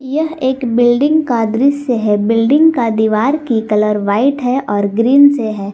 यह एक बिल्डिंग का दृश्य है बिल्डिंग का दीवार की कलर व्हाइट है और ग्रीन से है।